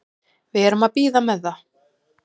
Við erum að bíða með það.